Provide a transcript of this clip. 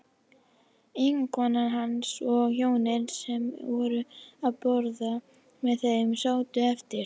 Eiginkona hans og hjónin sem voru að borða með þeim sátu eftir.